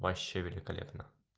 вообще великолепно